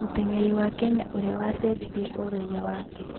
Mũteng'eri wa Kenya ũria wacenjirie ũraiya wake.